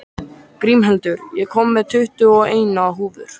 Grímhildur, ég kom með tuttugu og eina húfur!